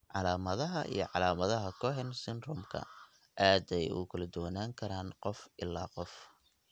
Calaamadaha iyo calaamadaha Cohen syndrome-ka aad ayey ugu kala duwanaan karaan qof ilaa qof.